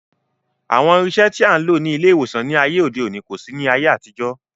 Àwọn irinṣẹ́ tí a ń lò ní ilé ìwòsàn ní ayé òde òní kò sí ní ayé àtijọ́